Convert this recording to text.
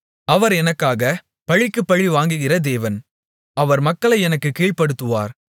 அவர் எனக்காகப் பழிக்குப் பழிவாங்குகிற தேவன் அவர் மக்களை எனக்குக் கீழ்ப்படுத்துகிறவர்